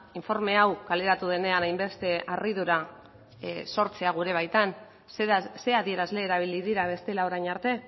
informe hau kaleratu denean hainbeste harridura sortzea gure baitan zein adierazle erabili dira bestela orain arte